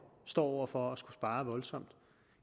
står over for at skulle spare voldsomt